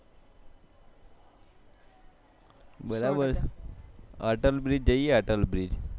બરાબર અતલ BRIDGE જઈએ